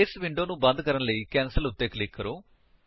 ਇਸ ਵਿੰਡੋ ਨੂੰ ਬੰਦ ਕਰਨ ਲਈ ਕੈਂਸਲ ਉੱਤੇ ਕਲਿਕ ਕਰੋ